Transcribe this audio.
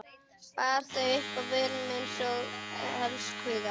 Bar þau upp að vörunum einsog elskhuga.